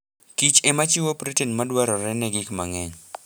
Kich ema chiwo protein madwarore ne gik mang'eny.